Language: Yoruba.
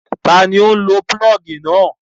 Ta ni ó ń lo pulọ́ọ́gì náà?